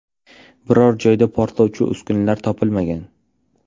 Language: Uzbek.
Biror joyda portlovchi uskunalar topilmagan.